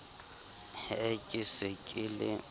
he ke se ke le